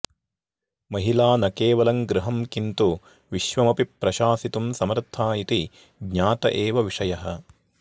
महिला न केवलं गृहं किन्तु विश्वमपि प्रशासितुं समर्था इति ज्ञातः एव विषयः